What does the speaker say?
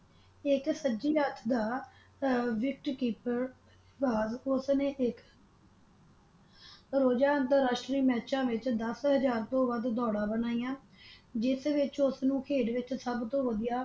ਇਕ ਸੱਜੀ ਹੱਥ ਦਾ ਆਹ ਵਿਕਟ ਕੀਪਰ ਬਾਅਦ ਉਸ ਨੇ ਇੱਕ ਰੋਜ਼ਾ ਅੰਤਰਰਾਸ਼ਟਰੀ ਮੈਚਾਂ ਵਿੱਚ ਦਸ ਹਜ਼ਾਰ ਤੋਂ ਵੱਧ ਦੌੜਾਂ ਬਣਾਈਆਂ ਜਿਸ ਵਿੱਚ ਉਸ ਨੂੰ ਖੇਡ ਵਿੱਚ ਸਭ ਤੋਂ ਵਧੀਆ।